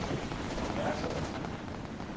opmærksom